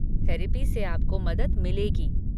Therapy से आपको मदद मिलेगी।